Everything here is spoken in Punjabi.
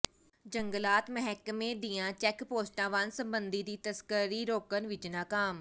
ਜੰਗਲਾਤ ਮਹਿਕਮੇ ਦੀਆਂ ਚੈੱਕ ਪੋਸਟਾਂ ਵਣ ਸੰਪਤੀ ਦੀ ਤਸਕਰੀ ਰੋਕਣ ਵਿੱਚ ਨਾਕਾਮ